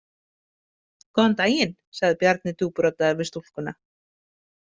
Góðan daginn, sagði Bjarni djúpraddaður við stúlkuna.